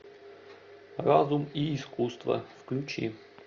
разум и искусство включи